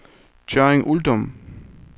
Tørring-Uldum